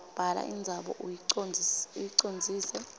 bhala indzaba uyicondzise